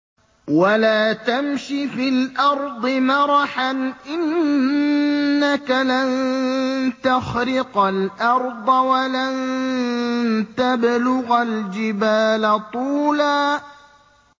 وَلَا تَمْشِ فِي الْأَرْضِ مَرَحًا ۖ إِنَّكَ لَن تَخْرِقَ الْأَرْضَ وَلَن تَبْلُغَ الْجِبَالَ طُولًا